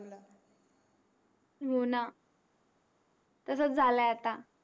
हो न तसस झालाय़ आता